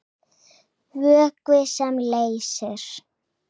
Vökvi sem leysir